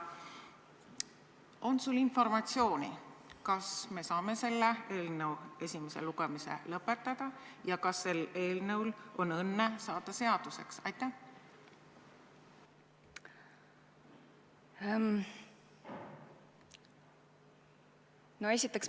On sul informatsiooni, kas me saame selle eelnõu esimese lugemise lõpetada ja kas sel eelnõul on õnne saada seaduseks?